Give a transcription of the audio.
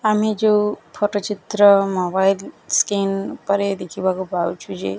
ଆମେ ଯୋଉ ଫଟ ଚିତ୍ର ମୋବାଇଲ୍ ସ୍କ୍ରିନ୍ ଉପରେ ଦେଖିବାକୁ ପାଉଛୁ ଯେ --